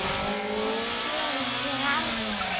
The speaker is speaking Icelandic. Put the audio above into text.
Það gerið þér aldrei.